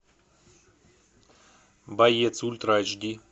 боец ультра айч ди